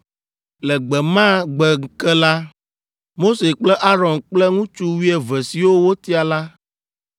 Le gbe ma gbe ke la, Mose kple Aron kple ŋutsu wuieve siwo wotia la